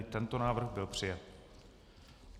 I tento návrh byl přijat.